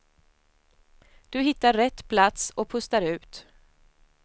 Du hittar rätt plats och pustar ut.